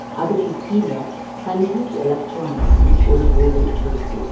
அதுக்கு கீழ சங்கீத் எலக்ட்ரானிக்ஸ்னு ஒரு போர்டு இருக்கு.